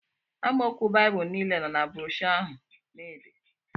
Amaokwu Baịbụl niile nọ na broshọ ahụ na-ede